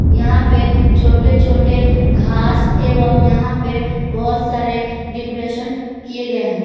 यहां पे छोटे छोटे घास एवं यहां पर बहुत सारे डेकोरेशन किए गए हैं।